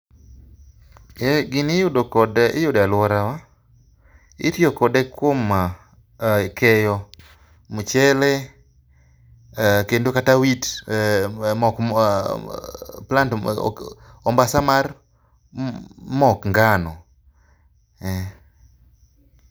Gini iyudo kode, iyude e aluorawa. Itiyo kod ekuom keyo mchele, eeh, kendo kata wheat, mok ,plant, ombasa mar mok ngano, eeh